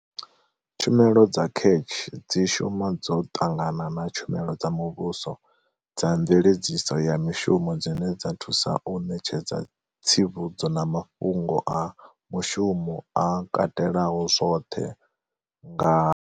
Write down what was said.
Tshumelo dza CACH dzi shuma dzo ṱangana na tshumelo dza muvhuso dza mveledziso ya mishumo dzine dza thusa u ṋetshedza tsivhudzo na mafhungo a mushumo a katelaho zwoṱhe nga.